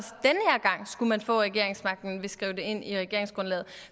gang skulle man få regeringsmagten vil skrive det ind i regeringsgrundlaget